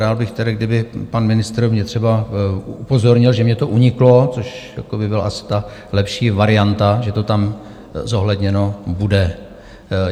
Rád bych tedy, kdyby pan ministr mě třeba upozornil, že mně to uniklo, což by byla asi ta lepší varianta, že to tam zohledněno bude.